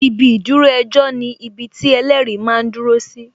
Ibi ìdúró ejọ́ ni ibiti ẹlẹ́rìí máa ń dúró si